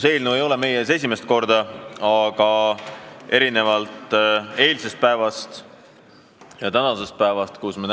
See eelnõu ei ole meie ees esimest korda, aga erinevalt mõnest teisest eelnõust on selle eelnõu puhul asjad klaarid.